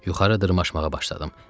Yuxarı dırmaşmağa başladım